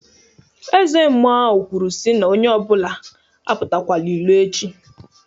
Eze mmụọ agụ kwuru si na onye apụtakwọla ilo echi.